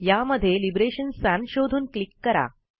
यामध्ये liberation sans शोधून click करा